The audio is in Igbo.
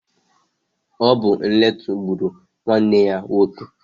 Ọ bu nletu gbụrụ nwanne ya nwoke.